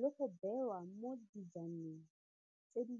le go bewa mo dijaneng tse di.